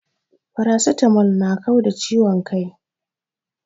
Paracetamol na kau da ciwon kai